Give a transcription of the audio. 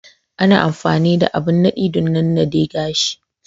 Ana amfani da abin nadi dan nanna de gashi.